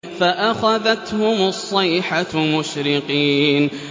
فَأَخَذَتْهُمُ الصَّيْحَةُ مُشْرِقِينَ